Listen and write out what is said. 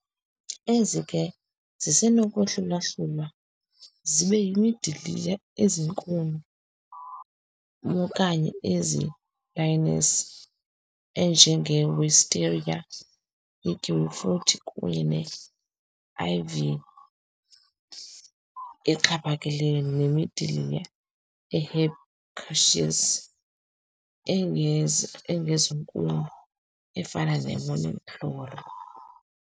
Ezi ke zisenokwahlulwa-hlulwa zibe yimidiliya eziinkuni mokanye ezii-lianas, enjenge-wisteria, i-kiwifruit, kunye ne-ivy exhaphakileyo, nemidiliya e-herbaceous, engezi engezonkuni, efana ne-morning glory.